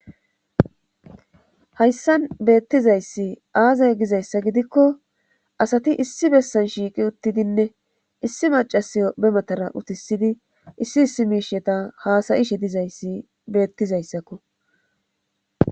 Hayssan beettizayssi aazay gizayssa gidikko asati issi bessan shiiqi uttidinne issi macasiyo bematara utisidi issi issi miisheta haasayishe dizayssi beettizayssakko